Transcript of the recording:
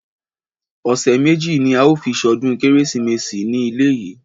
Ọ̀sẹ̀ méjì ní a ó fi ṣọdún kérésìmesì ní ilé yìí.